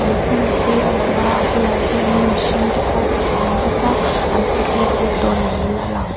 hnim te a lang a a bulah hianin mihring te pawh an awm bawk a an picnic vel dawn niin a lang.